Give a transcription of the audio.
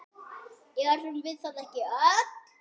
Erum við það ekki öll?